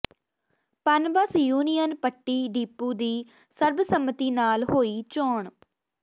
Punbus union Patti depot ਦੀ ਸਰਬਸੰਮਤੀ ਨਾਲ ਹੋਈ ਚੋਣ